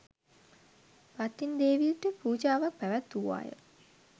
පත්තිනි දේවියට පූජාවක් පැවැත්වූවා ය.